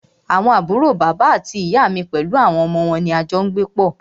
Àwọn àbúrò bàbá àti ìyá mí pẹlú àwọn ọmọ wọn ní a jọ n gbé pọ́.